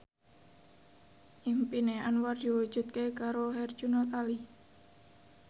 impine Anwar diwujudke karo Herjunot Ali